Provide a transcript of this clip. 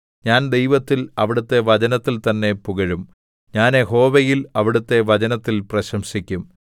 ഞാൻ ദൈവത്തിൽ അവിടുത്തെ വചനത്തിൽ തന്നെ പുകഴും ഞാൻ യഹോവയിൽ അവിടുത്തെ വചനത്തിൽ പ്രശംസിക്കും